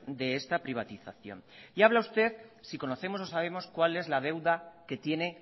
de esta privatización y habla usted si conocemos o sabemos cuál es la deuda que tiene